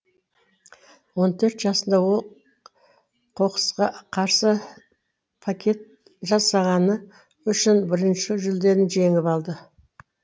он төрт жасында ол қоқысқа қарсы плакат жасағаны үшін бірінші жүлдені жеңіп алды